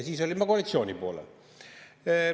Siis olin ma koalitsiooni poolel.